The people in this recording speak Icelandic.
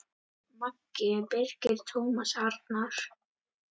Maki Birgir Tómas Arnar.